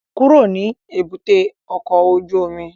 Kúrò ní èbúté ọkọ̀ ojú omi!